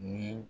Ni